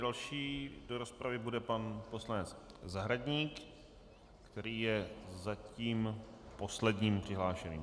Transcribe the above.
Další do rozpravy bude pan poslanec Zahradník, který je zatím posledním přihlášeným.